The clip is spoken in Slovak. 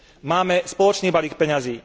Máme spoločný balík peňazí.